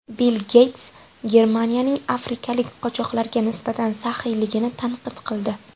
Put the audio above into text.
Bill Geyts Germaniyaning afrikalik qochoqlarga nisbatan saxiyligini tanqid qildi.